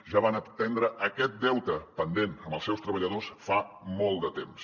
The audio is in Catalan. ja van atendre aquest deute pendent amb els seus treballadors fa molt de temps